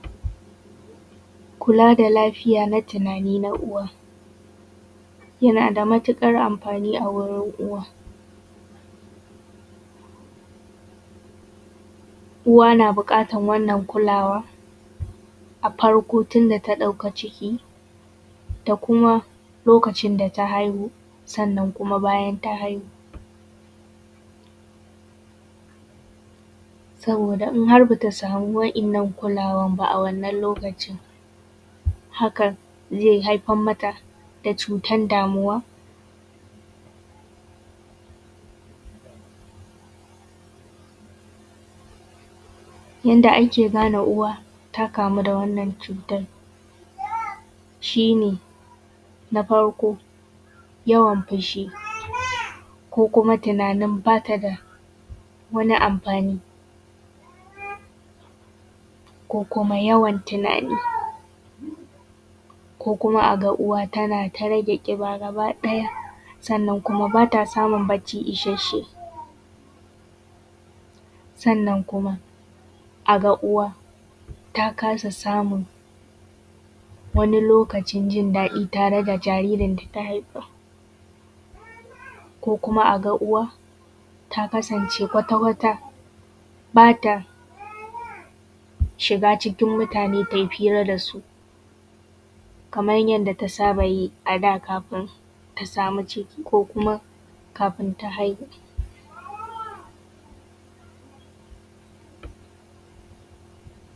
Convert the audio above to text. Kula da lafiya na tunani na uwa, yana da matuƙar amfani a wurin uwa. Uwa na buƙatar wannan kulawa a farko tun da ta ɗauka ciki da kuma lokacin da ta haihu, sannan kuma bayan ta haihu saboda in har bata samu waɗannan kulawar ba a wannan lokacin, hakan zai haifar mata da cutan damuwa. Yanda ake gane uwa ta kamu da wannan cutar, shi ne na farko, yawan fushi ko kuma tunanin bata da wani amfani ko kuma yawan tunani ko kuma a ga uwa tana ta rage ƙiba gaba ɗaya, sannan kuma bata samun barci isashshe, sannan kuma a ga uwa ta kasa samun wani lokacin jin daɗi tare da jaririn data Haifa ko kuma a ga uwa ta kasance kwata-kwata bata shiga cikin mutane tayi fira da su kaman yanda ta saba yi a da kafin ta samu ciki ko kuma kafin ta haihu.